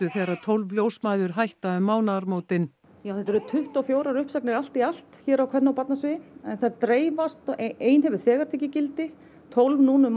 þegar tólf ljósmæður hætta um mánaðamótin já þetta eru tuttugu og fjórar uppsagnir allt í allt hér á kvenna og barnasviði en þær dreifast ein hefur þegar tekið gildi tólf núna um